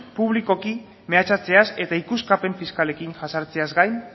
publikoki mehatxatzeaz eta ikuskapen fiskalekin jazartzeaz gain